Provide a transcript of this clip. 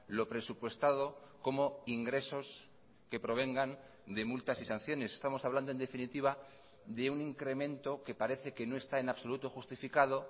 lo presupuestado como ingresos que provengan de multas y sanciones estamos hablando en definitiva de un incremento que parece que no está en absoluto justificado